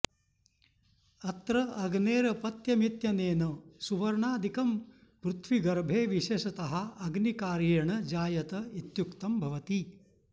अत्र अग्नेरपत्यमित्यनेन सुवर्णादिकं पृथ्वीगर्भे विशेषतः अग्निकार्येण जायत इत्युक्तं भवति